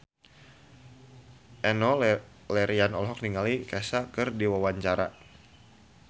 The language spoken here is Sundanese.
Enno Lerian olohok ningali Kesha keur diwawancara